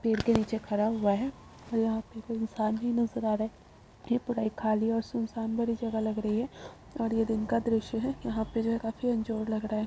पेड़ के नीचे खड़ा हुआ है और यहाँ पर कोई इंसान नहीं नजर आ रहा है। यह पूरा ही खाली और सुनसान भरी जगह लग रही है और यह दिन का दृश्य है। यहाँ पर जो है काफी लग रहा है।